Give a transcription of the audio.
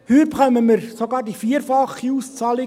Heuer erhalten wir sogar die vierfache Auszahlung.